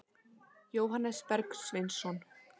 Jóhannes Bergsveinsson.